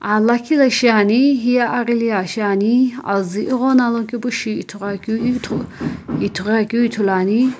Aa lakhi la shiani hiye aghili aa shiani azü ighono alokepushi ithughuakeu ithu ithughuakeu ithuluani.